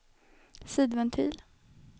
sidventil